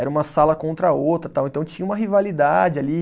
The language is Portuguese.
Era uma sala contra a outra tal, então tinha uma rivalidade ali.